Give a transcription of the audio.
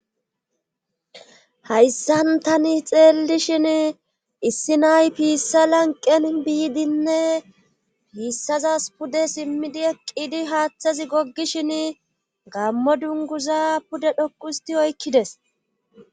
Hayssan tani xeelli shin issi nay piissa lanqen biidinne piissazas pude simmidi eqqidi haaththazi goggishin gammo dunguza pude dhoqu histi oykkides.